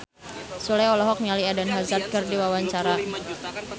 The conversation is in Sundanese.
Sule olohok ningali Eden Hazard keur diwawancara